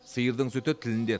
сиырдың сүті тілінде